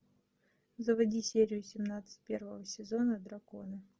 заводи серию семнадцать первого сезона драконы